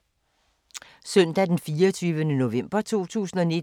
Søndag d. 24. november 2019